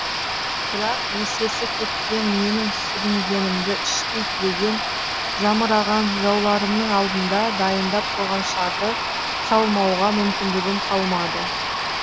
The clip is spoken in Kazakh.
бірақ есесі кеткен менің сүрінгенімді іштей тілеген жамыраған жауларымның алдында дайындап қойған шарды салмауға мүмкіндігім қалмады